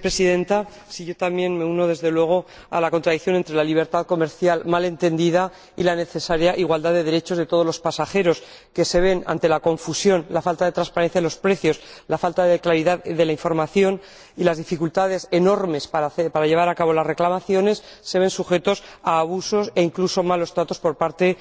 Presidenta, yo también me uno, desde luego, a la contradicción entre la libertad comercial mal entendida y la necesaria igualdad de derechos de todos los pasajeros que, ante la confusión, la falta de transparencia en los precios, la falta de claridad de la información y las dificultades enormes para llevar a cabo las reclamaciones, se ven sujetos a abusos e incluso malos tratos por parte